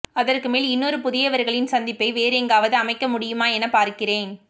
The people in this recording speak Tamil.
அதற்கு மேல் இன்னொரு புதியவர்களின் சந்திப்பை வேறெங்காவது அமைக்கமுடியுமா என பார்க்கிறேன்